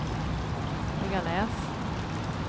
Höganäs